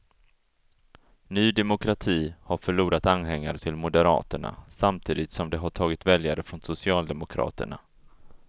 Ny demokrati har förlorat anhängare till moderaterna, samtidigt som det har tagit väljare från socialdemokraterna.